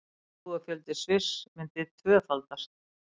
Íbúafjöldi Sviss myndi því tvöfaldast